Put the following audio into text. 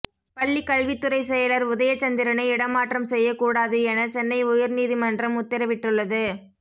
பள்ளி கல்வித்துறை செயலர் உதயச்சந்திரனை இடமாற்றம் செய்யக்கூடாது என சென்னை உயர்நீதிமன்றம் உத்தரவிட்டுள்ளது